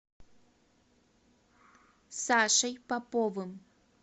сашей поповым